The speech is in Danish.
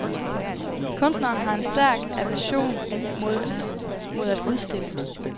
Kunstneren har en stærk aversion mod at udstille.